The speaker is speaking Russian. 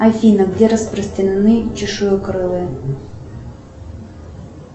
афина где распространены чешуекрылые